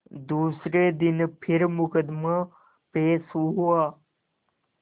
दूसरे दिन फिर मुकदमा पेश हुआ